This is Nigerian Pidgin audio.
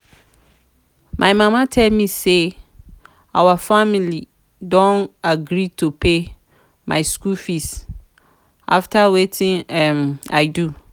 my mama tell me say our family don agree to pay my school fees after wetin um i do